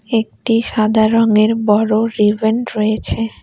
একটি সাদা রঙের বড়ো রয়েছে।